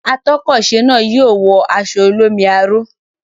Atọ́kọ̀se náà yóò wọ aṣọ olómi aró.